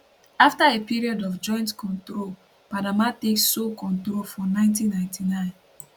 afta a period of joint control panama take sole control for 1999